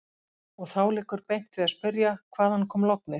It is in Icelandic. Og þá liggur beint við að spyrja: Hvaðan kom lognið?